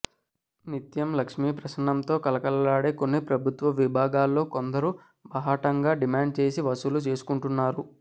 నిత్యం లక్ష్మీప్రసన్నంతో కళకళలాడే కొన్ని ప్రభుత్వ విభాగాల్లో కొందరు బాహాటంగా డిమాండ్ చేసి వసూలు చేసుకుంటు న్నారు